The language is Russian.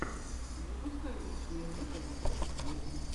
запускай вечное лето вокруг света